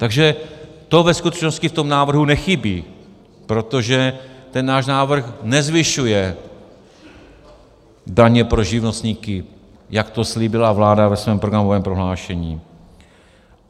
Takže to ve skutečnosti v tom návrhu nechybí, protože ten náš návrh nezvyšuje daně pro živnostníky, jak to slíbila vláda ve svém programovém prohlášení.